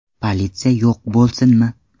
Politsiya yo‘q bo‘lsinmi?